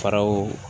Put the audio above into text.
Faraw